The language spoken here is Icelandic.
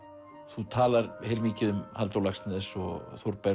þú talar mikið um Halldór Laxness og Þórberg